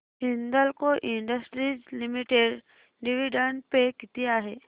Hindalco industries limited dividend pay किती आहे